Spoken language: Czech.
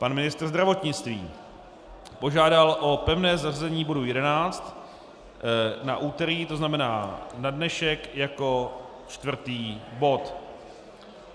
Pan ministr zdravotnictví požádal o pevné zařazení bodu 11 na úterý, to znamená na dnešek, jako čtvrtý bod.